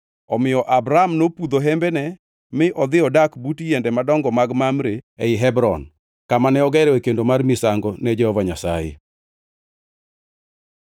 Omiyo Abram nopudho hembene mi odhi odak but yiende madongo mag Mamre ei Hebron, kamane ogeroe kendo mar misango ne Jehova Nyasaye.